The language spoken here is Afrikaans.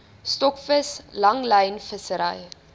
stokvis langlyn vissery